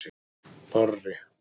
Þorri